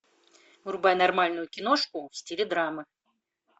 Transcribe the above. врубай нормальную киношку в стиле драмы